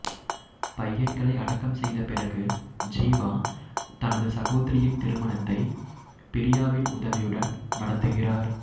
பையன்களை அடக்கம் செய்த பிறகு ஜீவா தனது சகோதரியின் திருமணத்தை பிரியாவின் உதவியுடன் நடத்துகிறார்